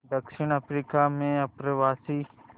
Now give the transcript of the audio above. दक्षिण अफ्रीका में अप्रवासी